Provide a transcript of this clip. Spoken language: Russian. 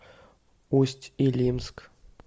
усть илимск